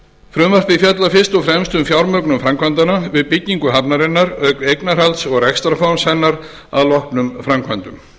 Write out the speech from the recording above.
frumvarpið fjallar fyrst og fremst um fjármögnun framkvæmdanna við byggingu hafnarinnar auk eignarhalds og rekstrarform hennar að loknum framkvæmdum